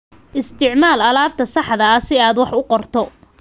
Isticmaal alaabta saxda ah si aad wax u qorto.